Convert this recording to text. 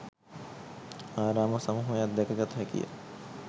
ආරාම සමූහයක් දැක ගත හැකිය.